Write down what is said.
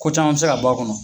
Ko caman bɛ se ka bɔ a kɔnɔ.